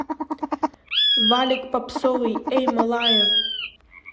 валик попсовый эй малая